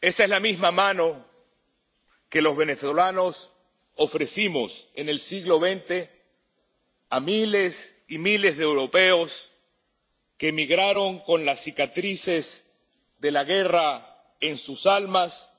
Esa es la misma mano que los venezolanos ofrecimos en el siglo XX a miles y miles de europeos que emigraron con las cicatrices de la guerra en sus almas